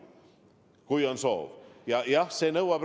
Kui on soov!